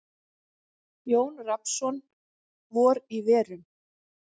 Jón Rafnsson: Vor í verum.